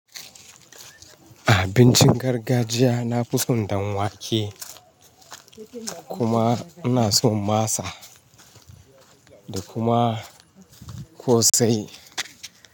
Abincin gargajiya nafi son ɗanwake, kuma ina son masa da kuma kosai.